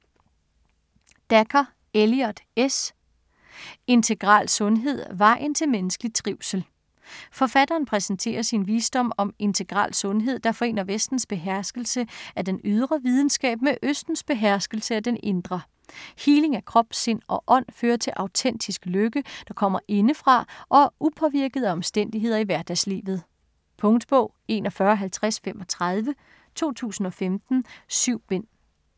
Dacher, Elliott S.: Integral sundhed: vejen til menneskelig trivsel Forfatteren præsenterer sin vision om integral sundhed, der forener Vestens beherskelse af den ydre videnskab med Østens beherskelse af den indre. Healing af krop, sind og ånd fører til autentisk lykke, der kommer indefra og er upåvirket af omstændigheder i hverdagslivet. Punktbog 415035 2015. 7 bind.